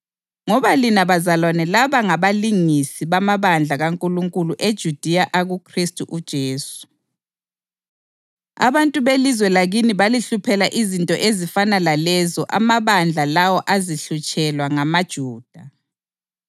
Ngoba lina bazalwane laba ngabalingisi bamabandla kaNkulunkulu eJudiya akuKhristu uJesu; abantu belizwe lakini balihluphela izinto ezifana lalezo amabandla lawo azihlutshelwa ngamaJuda,